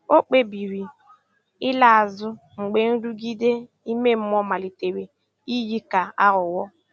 Ọ̀ kpebìrì ị̀la azụ mgbe nrụgide ime mmụọ malitere iyi ka aghụghọ.